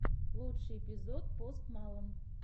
лучший эпизод пост малон